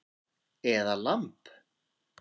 Eða lamb